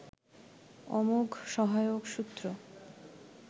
অমোঘ সহায়ক সূত্র